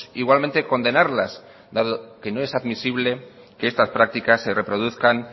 igualmente condenarlas dado que no es admisible que estas prácticas se reproduzcan